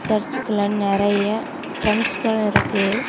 Search குள்ள நிறைய டிரம்ஸ்கள் இருக்கு.